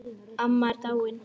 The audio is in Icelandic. Amma er dáin